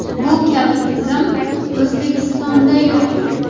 Bu kabi tizim O‘zbekistonda yo‘q.